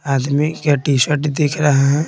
आदमी क्या टी-शर्ट दिख रहा है।